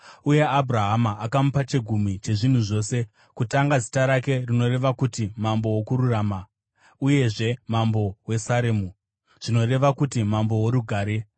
uye Abhurahama akamupa chegumi chezvinhu zvose. Kutanga zita rake rinoreva kuti, “mambo wokururama”; uyezve, “mambo weSaremu” zvinoreva kuti, “mambo woRugare.”